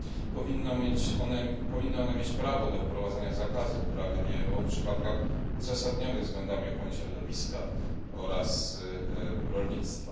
Powinny one mieć prawo do wprowadzania zakazu uprawy GMO w przypadkach uzasadnionych względami ochrony środowiska oraz rolnictwa.